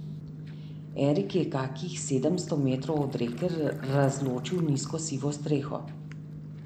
Erik je kakih sedemsto metrov od reke razločil nizko sivo streho.